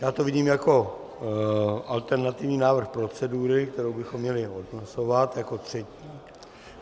Já to vidím jako alternativní návrh procedury, kterou bychom měli odhlasovat jako třetí.